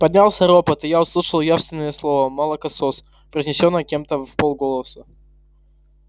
поднялся ропот и я услышал явственно слово молокосос произнесённое кем-то вполголоса